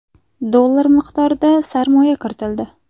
dollar miqdorida sarmoya kiritildi.